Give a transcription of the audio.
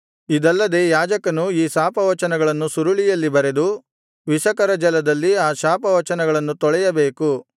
ಇದಲ್ಲದೆ ಯಾಜಕನು ಈ ಶಾಪವಚನಗಳನ್ನು ಸುರುಳಿಯಲ್ಲಿ ಬರೆದು ವಿಷಕರ ಜಲದಲ್ಲಿ ಆ ಶಾಪವಚನವನ್ನು ತೊಳೆಯಬೇಕು